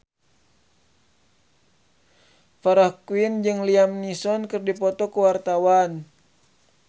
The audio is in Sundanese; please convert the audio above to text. Farah Quinn jeung Liam Neeson keur dipoto ku wartawan